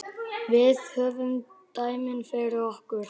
Við höfum dæmin fyrir okkur.